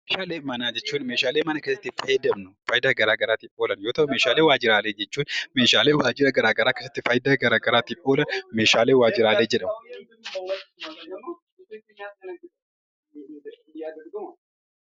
Meeshaalee manaa jechuun meeshaalee mana keessatti fayyadamnu waan gara garaatiif oolan yoo ta'u, meeshaalee waajjiraalee jechuun meeshaalee garaa garaa keessatti faayidaa garaa garaatiif oolan meeshaalee waajjiraalee jedhamu.